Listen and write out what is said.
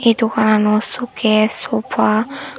ei dogananot sucase sofa .